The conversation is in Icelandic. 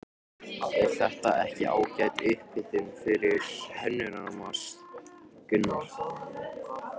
Er þetta ekki ágæt upphitun fyrir Hönnunarmars, Gunnar?